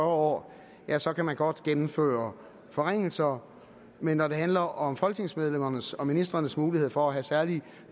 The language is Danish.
år ja så kan man godt gennemføre forringelser men når det handler om folketingsmedlemmernes og ministrenes mulighed for at have særlige